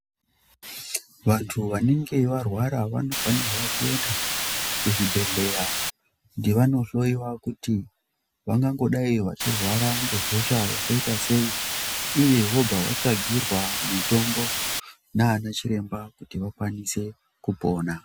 Vantu vanenge varwara vanofanurwa kuenda kuzvibhedhlera kuti vandohloyiwa kuti vangangodai vachirwara ngehosha yakaita sei uye vobva vatsvagirwa mitombo naana Chiremba kuti vakwanise kupona.